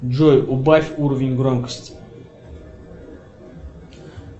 джой убавь уровень громкости